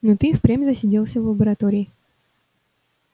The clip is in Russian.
но ты и впрямь засиделся в лаборатории